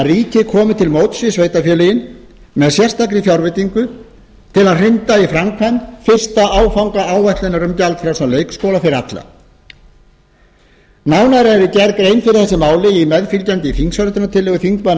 ríkið komi til móts við sveitarfélögin með sérstakri fjárveitingu til að hrinda í framkvæmd fyrsta áfanga áætlunar um gjaldfrjálsan leikskóla fyrir alla nánar er gerð grein fyrir þessu máli í meðfylgjandi þingsályktunartillögu